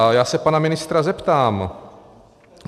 A já se pana ministr zeptám.